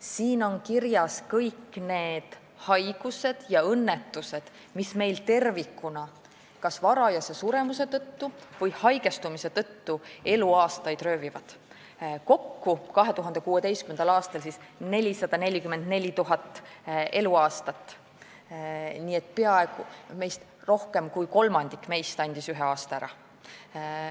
Siin on kirjas kõik haigused ja õnnetused, mis meilt kas varajase suremuse või haigestumuse tõttu eluaastaid röövivad, kokku 2016. aastal 444 000 eluaastat, nii et rohkem kui kolmandik meist andis ühe aasta ära.